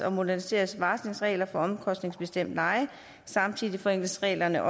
og moderniseres varslingsreglerne for omkostningsbestemt leje samtidig forenkles reglerne